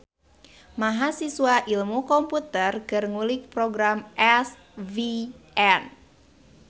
Mahasiswa ilmu komputer keur ngulik program SVN